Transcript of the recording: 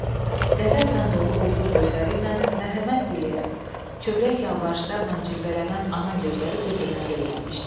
Kin, qəzəblə dolu quldur gözləri ilə mərhəmət diləyən, kövrək yalvarışlarla cilvələnən ana gözləri bir-birinə zillənmişdi.